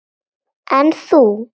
En þú.